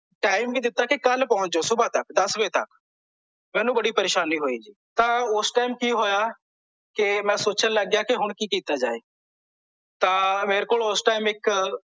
time ਵ ਦਿੱਤਾ ਕੀ ਕੱਲ ਪਹੁੰਚ ਜਾਓ ਸੁਭਾ ਤਕ ਦੱਸ ਵਜੇ ਤਕ ਮੈਨੂੰ ਬੜੀ ਪਰੇਸ਼ਾਨੀ ਹੋਈ ਜੀ ਤਾਂ ਓਸ ਟਾਈਮ ਕੀ ਹੋਇਆ ਕੇ ਮੈਂ ਸੋਚਣ ਲੱਗ ਗਿਆ ਕੀ ਕੀ ਹੁਣ ਕੀਤਾ ਜਾਵੇ ਤਾਂ ਮੇਰੇ ਕੋਲ ਓਸ ਟਾਈਮ ਇੱਕ